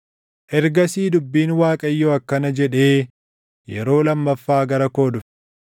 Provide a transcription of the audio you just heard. Ergasii dubbiin Waaqayyoo akkana jedhee yeroo lammaffaa gara koo dhufe: